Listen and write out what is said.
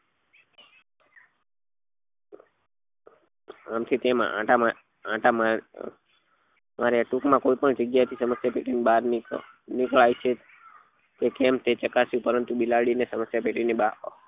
આમ થી તેમ આંટા આંટા માર્યા માર્યા ટૂંક માં કોઈ પણ જગ્યા એ થી સમસ્યા પેટી માંથી બાર નીકળાય નીકળાય છે કે કેમ એ ચકાસ્યું પરંતુ બિલાડી ને સમસ્યા પેટી ની બાર